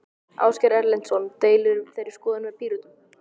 Ásgeir Erlendsson: Deilirðu þeirri skoðun með Pírötum?